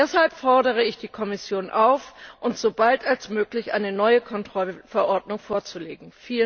Deshalb fordere ich die Kommission auf, uns so bald wie möglich eine neue Kontrollverordnung vorzulegen!